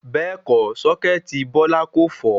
Bẹ́ẹ̀kọ́ sọ́kẹ́tì Bọ́lá kò fọ́